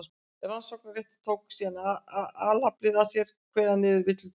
rannsóknarrétturinn tók síðan alfarið að sér að kveða niður villutrú